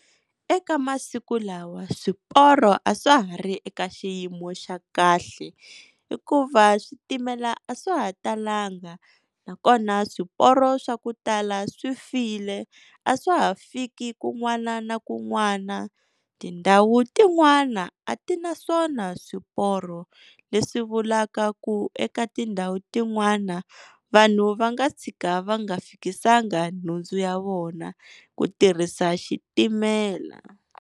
Eka masiku lawa swiporo a swa ha ri eka xiyimo xa kahle. Hikuva switimela a swa ha talanga, nakona swiporo swa ku tala swi file a swa ha fiki kun'wana na kun'wana. Tindhawu tin'wana a ti na swona swiporo leswi vulaka ku eka tindhawu tin'wana vanhu va nga tshika va nga fikisanga nhundzu ya vona ku tirhisa xitimela.